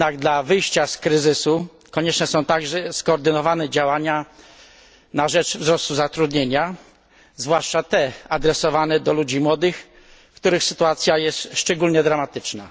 Jednak w celu wyjścia z kryzysu konieczne są także skoordynowane działania na rzecz wzrostu zatrudnienia, zwłaszcza te adresowane do ludzi młodych, których sytuacja jest szczególnie dramatyczna.